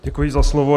Děkuji za slovo.